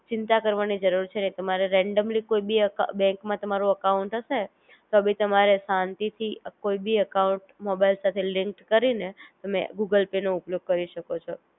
ચિંતા કરવાની જરૂર છે નહિ તમારે રેન્ડમલી કોઈ ભી અકા બેન્ક માં તમારું અકાઉંટ હશે તો બી તમારે શાંતિ થી કોઈ બી અકાઉંટ મોબાઈલ સાથે લિન્ક કરી ને તમે ગૂગલ પે નો ઉપયોગ કરી શકો છો